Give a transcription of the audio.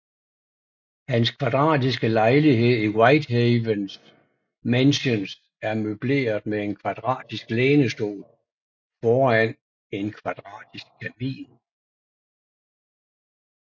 Hans kvadratiske lejlighed i Whitehaven Mansions er møbleret med en kvadratisk lænestol foran en kvadratisk kamin